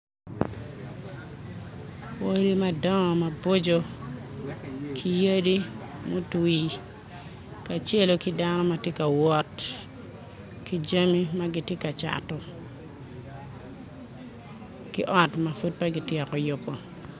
Odi madong ma boco ki yadi mutwi ka celo ki dano ma ti ka wot ki jami ma giti ka cato ki ot ma pud pe ki tyeko yubo